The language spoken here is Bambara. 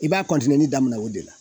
E b'a kɔntiniyeli daminɛ o de la